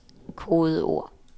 kodeord